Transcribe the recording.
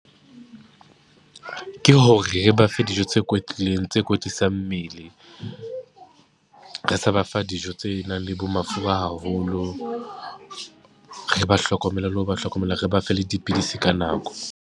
Ke ho re ba fe dijo tse kwetlileng tse kwetlisang mmele, re sa ba fa dijo tse nang le bo mafura haholo, re ba hlokomela le ho ba hlokomela, re ba fe le dipidisi ka nako.